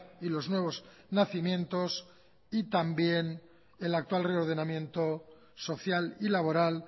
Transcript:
y los nuevos nacimientos y también el actual reordenamiento social y laboral